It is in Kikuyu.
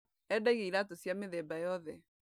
Endagia iratũ cia mĩthemba yothe.